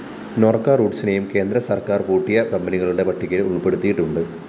നോര്‍ക്ക റൂട്ട്സിനെയും കേന്ദ്ര സര്‍ക്കാര്‍ പൂട്ടിയ കമ്പനികളുടെ പട്ടികയില്‍ ഉള്‍പ്പെടുത്തിയിട്ടുണ്ട്